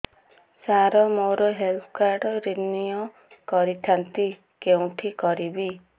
ସାର ମୋର health card renew କରିଥାନ୍ତି କେଉଁଠି କରିବି